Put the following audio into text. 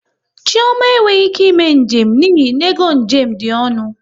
Chioma e nweghị ike ime njem n'ihi n'ego njem dị ọnụ